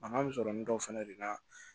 Mankan bɛ sɔrɔ nin dɔw fana de la